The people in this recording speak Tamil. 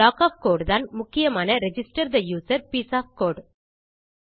இந்த ப்ளாக் ஒஃப் கோடு தான் முக்கியமான register the user piece of code